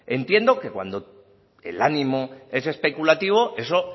entiendo que cuando el ánimo es especulativo eso